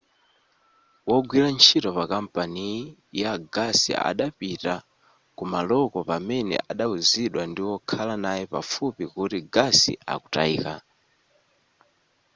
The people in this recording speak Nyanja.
wogwira ntchito pakampani ya gasi adapitaa kumaloko pamene adawuzidwa ndiwokhala naye pafupi kuti gasi akutayika